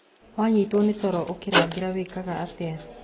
Wanyitwo nĩ toro ũkĩrangĩra wĩkaga atĩa.